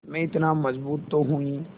मैं इतना मज़बूत तो हूँ ही